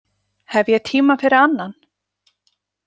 Hef ég tíma fyrir annan?